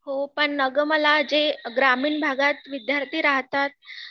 हो पण अग मला जे ग्रामीण भागात विद्यार्थी राहतात